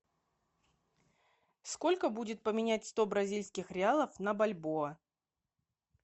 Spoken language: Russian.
сколько будет поменять сто бразильских реалов на бальбоа